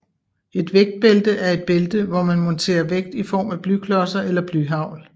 Et vægtbælte er et bælte hvor man monterer vægt i form af blyklodser eller blyhagl